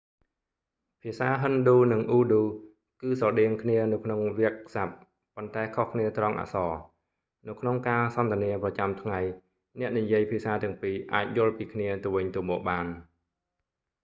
ភាសាហិណ្ឌូ និងអ៊ូឌូ គឺស្រដៀងគ្នានៅក្នុងវាក្យស័ព្ទ ប៉ុន្តែខុសគ្នាត្រង់អក្សរ នៅក្នុងការសន្ទនាប្រចាំថ្ងៃអ្នកនិយាយភាសាទាំងពីរអាចយល់ពីគ្នាទៅវិញទៅមកបាន